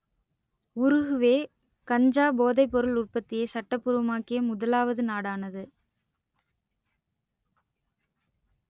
Uruguay கஞ்சா போதைப்பொருள் உற்பத்தியை சட்டபூர்வமாக்கிய முதலாவது நாடானது